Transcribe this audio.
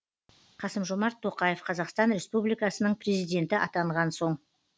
қасым жомарт тоқаев қазақстан республикасының президенті атанған соң